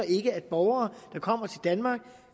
at borgere der kommer til danmark